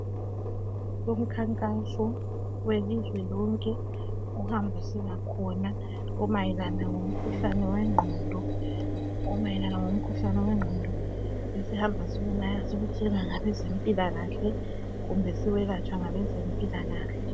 Umkhankaso welizwe lonke ohambisela khona omayelana ngomkhuhlane wengqondo esihamba siwutshelwa ngabezempilakahle kumbe siwelatshwa ngabezempilakahle.